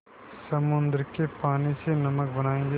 समुद्र के पानी से नमक बनायेंगे